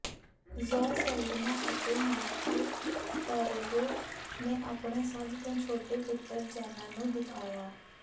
ਜ਼ੌ Saldana ਅਤੇ Marco Perego ਨੇ ਆਪਣੇ ਸਭ ਤੋਂ ਛੋਟੇ ਪੁੱਤਰ ਜੇਨਾ ਨੂੰ ਦਿਖਾਇਆ